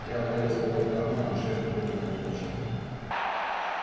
я полез было в карман и шеф немедленно уточнил